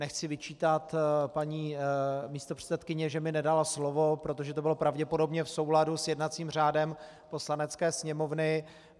Nechci vyčítat paní místopředsedkyni, že mi nedala slovo, protože to bylo pravděpodobně v souladu s jednacím řádem Poslanecké sněmovny.